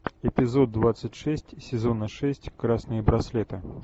эпизод двадцать шесть сезона шесть красные браслеты